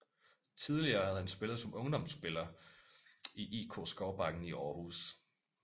Tidligere havde han som ungdomsspiller spillet i IK Skovbakken i Århus